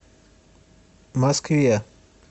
москве